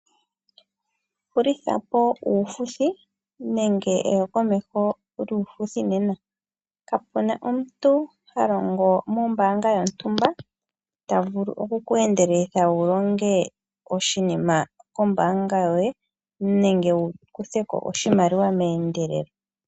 Hulithapo uufuthi nenge eyindjipalo lyuufuthi nena. Kapuna omuniilonga gwomombaanga yontumba ta vulu oku kweendeleleka wulonge oshinima shontumba kombaanga yoye nenge wukutheko oshimaliwa meendelelo.